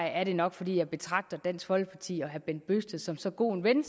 er det nok fordi jeg betragter dansk folkeparti og herre bent bøgsted som så god en ven